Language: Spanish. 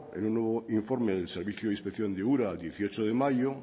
en un nuevo informe del servicio de inspección de ura el dieciocho de mayo